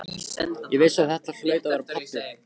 Ég vissi að þetta hlaut að vera pabbi.